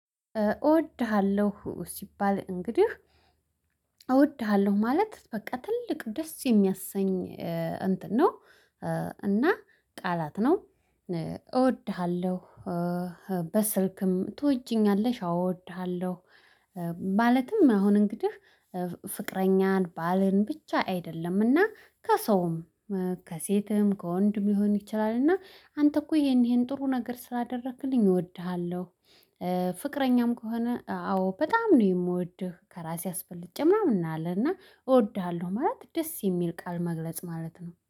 እወድሃለሁ ሲባል እንግዲህ እወድሃለሁ ማለት በቃ ትልቅ ደስ የሚያሰኝ እንትን ነው። እና ቃላት ነው እወድሃለሁ። በስልክም ትወጂኛለሽ አወድሃለሁ። ማለትም አሁን እንግዲህ ፍቅረኛን ባልን ብቻ አይደለምና ከሰውም ከሴትም ከወንድም ሊሆን እና አንተ እኮ ይሄን ይሄን ጥሩ ነገር ስላደረክልኝ እወድሃለሁ። ፍቅረኛም ከሆነ አዎ በጣም ነው የምወድህ ከራሴ አስበልጬ ምናምን እንላለንና እወድሃለሁ ማለት ደስ የሚል ቃል መግለጽ ማለት ነው